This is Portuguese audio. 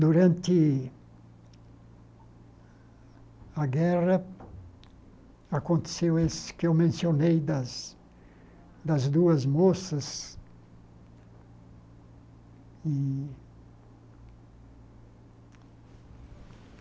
Durante a guerra, aconteceu isso que eu mencionei das das duas moças e.